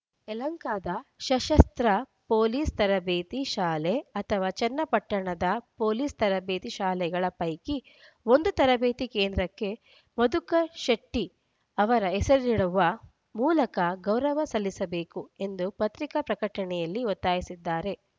ಯಲಹಂಕದ ಸಶಸ್ತ್ರ ಪೊಲೀಸ್‌ ತರಬೇತಿ ಶಾಲೆ ಅಥವಾ ಚನ್ನಪಟ್ಟಣದ ಪೊಲೀಸ್‌ ತರಬೇತಿ ಶಾಲೆಗಳ ಪೈಕಿ ಒಂದು ತರಬೇತಿ ಕೇಂದ್ರಕ್ಕೆ ಮಧುಕರ ಶೆಟ್ಟಿಅವರ ಹೆಸರನ್ನಿಡುವ ಮೂಲಕ ಗೌರವ ಸಲ್ಲಿಸಬೇಕು ಎಂದು ಪತ್ರಿಕಾ ಪ್ರಕಟಣೆಯಲ್ಲಿ ಒತ್ತಾಯಿಸಿದ್ದಾರೆ